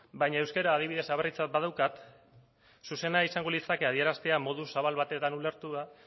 baina euskara adibidez aberritzat badaukat zuzena izango litzateke adieraztea modu zabal batetan ulertuta